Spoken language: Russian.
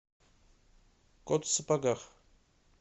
кот в сапогах